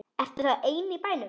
Ertu þá ein í bænum?